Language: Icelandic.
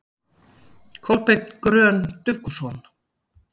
Kolbeinn Grön Dufgusson